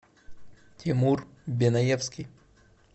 тимур беноевский